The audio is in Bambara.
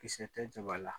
Kisɛ tɛ jaba la